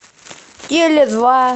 теле два